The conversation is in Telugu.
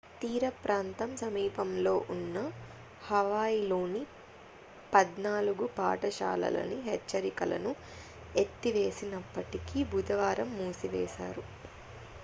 తీరప్రాంతం సమీపంలో ఉన్న హవాయిలోని పద్నాలుగు పాఠశాలలని హెచ్చరికలను ఎత్తివేసినప్పటికీ బుధవారం మూసివేశారు